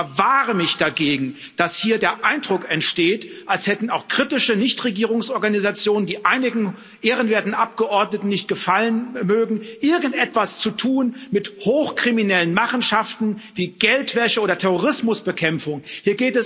Ich verwahre mich dagegen, dass hier der Eindruck entsteht, als hätten auch kritische Nichtregierungsorganisationen, die einigen ehrenwerten Abgeordneten nicht gefallen mögen, irgendetwas mit hochkriminellen Machenschaften wie Geldwäsche oder Terrorismusbekämpfung zu tun.